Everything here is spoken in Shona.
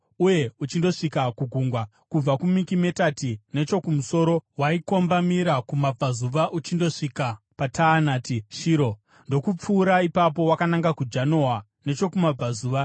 uye uchindosvika kugungwa, kubva kuMikimetati nechokumusoro waikombamira kumabvazuva uchindosvika paTaanati Shiro, ndokupfuura ipapo wakananga kuJanoa nechokumabvazuva.